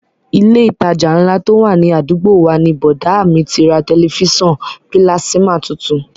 Ilé ìtajà ńlá tó wà ní àdúgbò wa ni bọ̀dá à mi ti ra tẹ̀lifísàn pílásímà tuntun